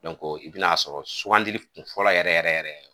i bi n'a sɔrɔ sugandili kun fɔlɔ yɛrɛ yɛrɛ yɛrɛ